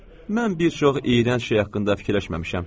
“Mən bir çox iyrənc şey haqqında fikirləşməmişəm.”